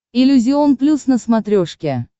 иллюзион плюс на смотрешке